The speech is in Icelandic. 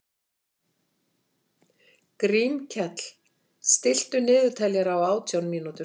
Grímkell, stilltu niðurteljara á átján mínútur.